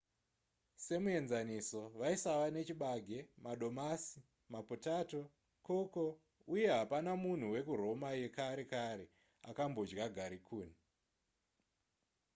semuenzaniso vaisava nechibage madomasi mapotato cocoa uye hapana munhu wekuroma yekare kare akambodya garikuni